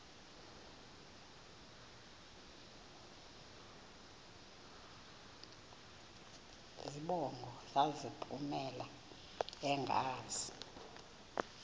zibongo zazlphllmela engazi